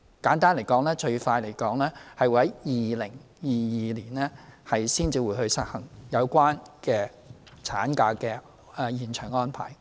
簡單而言，最快在2022年才會實行有關產假的延長安排。